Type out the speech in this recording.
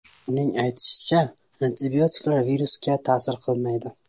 Uning aytishicha, antibiotiklar virusga ta’sir qilmaydi.